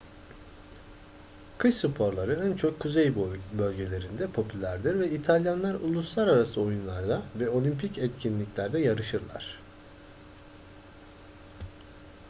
kış sporları en çok kuzey bölgelerinde popülerdir ve i̇talyanlar uluslararası oyunlarda ve olimpik etkinliklerde yarışırlar